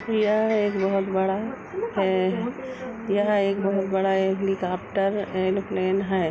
यह एक बहुत बड़ा है। यह एक बहुत बड़ा हेलिकाप्टर एण्ड प्लेन है।